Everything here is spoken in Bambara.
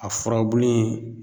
A furabulu in